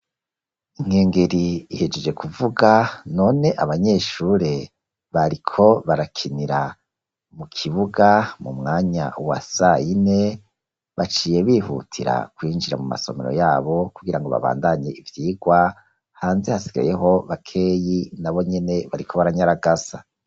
Inkengeri ihejeje kuvuga none abanyeshure bariko barakinira mu kibuga mu mwanya wa sayine baciye bihutira kwinjira mu masomero yabo kugira ngo babandanye ivyigwa, hanze hasigayeho bakeyi nabo nyene bariko baranyaragasa.